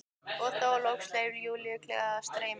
Og þá loks leyfði Júlía gleðinni að streyma.